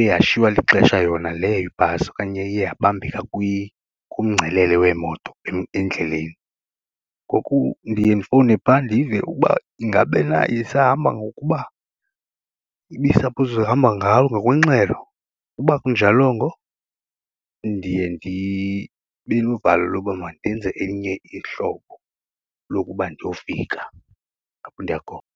iye yashiywa lixesha yona leyo ibhasi okanye iye yabambeka kumngcelele wemoto endleleni. Ngoku ndiye ndifowune phaa ndive ukuba ingabe na isahamba ngokuba ibi-suppose ihamba ngokwengxelo, uba akunjalongo ndiye ndibe novalo loba mandenze elinye ihlobo lokuba ndiyofika apho ndiya khona.